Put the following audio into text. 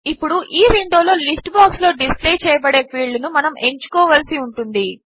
ఇప్పుడు ఈ విండో లో లిస్ట్ బాక్స్ లో డిస్ప్లే చేయబడే ఫీల్డ్ ను మనము ఎంచుకోవలసి ఉంటుంది